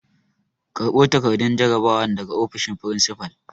Karɓo takardun jarabawan daga ofishin furinsifal!